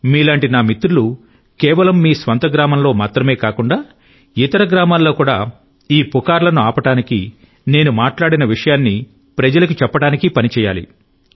మీలాంటి నా మిత్రులు కేవలం మీ స్వంత గ్రామంలో మాత్రమే కాకుండా ఇతర గ్రామాల్లో కూడా ఈ పుకార్లను ఆపడానికి నేను మాట్లాడిన విషయాన్ని ప్రజలకు చెప్పడానికి పని చేయాలి